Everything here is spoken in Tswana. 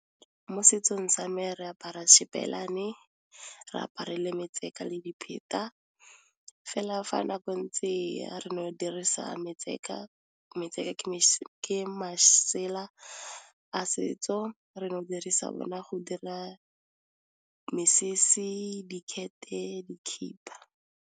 Mo setsong sa me re apara share Shibelani, re apare le le dipheta, fela fa nako ntse re no dirisa metseka ke masela a setso re no dirisa yona go dira mesese, dikete, dikipa.